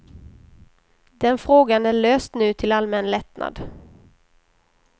Den frågan är löst nu till allmän lättnad.